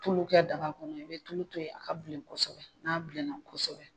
Tulu kɛ daga kɔnɔ i bɛ tulu to yen a ka bilen kosɛbɛ n'a bilenna kosɛbɛ